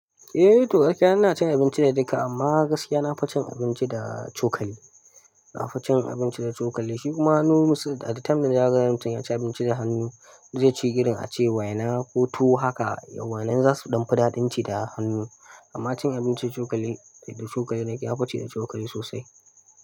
Eh to gaskiya ina cin abinci da duka amma gaskiya nafi cin abinci da cokali. Nafi cin abinci da cokali shi ku ma hannu most of da time da yara yanzu anyi cin abinci da hannu zai ci ginin a ce wai na ko to haka yawan nan za su damu daɗin ci da hannu. Amma cin abinci da cokali, da cokali naki nafi cin cokali sosai.